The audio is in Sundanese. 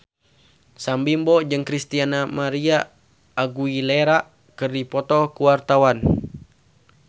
Sam Bimbo jeung Christina María Aguilera keur dipoto ku wartawan